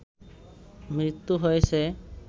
মৃত্যু হয়েছে